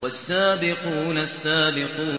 وَالسَّابِقُونَ السَّابِقُونَ